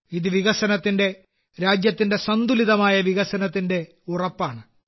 ഇത് വികസനത്തിന്റെ രാജ്യത്തിന്റെ സന്തുലിതമായ വികസനത്തിന്റെ ഉറപ്പാണ്